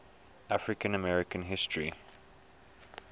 african american history